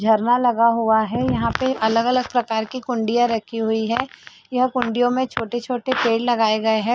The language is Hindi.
झरना लगा हुआ है यहाँ पे अलग-अलग प्रकार के कुंडिया रखी हुई है ये कुंडियों में छोटे-छोटे पेड़ लगाए गए है।